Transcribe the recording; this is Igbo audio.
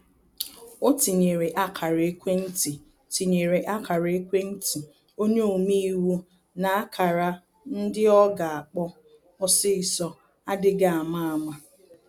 O tinyere ákara-ekwentị tinyere ákara-ekwentị onye ome-iwu na ákara ndị ọ ga akpọ osisọ adịghị ama ama